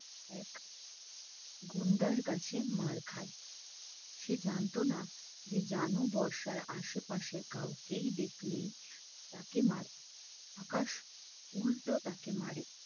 এক গুন্ডার কাছে মার খাই সে জানতো না সে জানু বর্ষার আশেপাশে কাউকে দেখলে তাকে মারতে আকাশ উল্টো তাকে মারে